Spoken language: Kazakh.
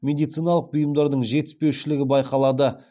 медициналық бұйымдардың жетіспеушілігі байқалады